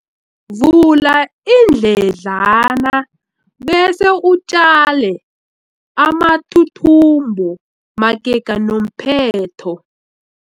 Vula iindledlana bese utjale amathuthumbo magega nomphetho.